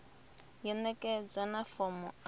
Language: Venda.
ya ṋekedzwa na fomo a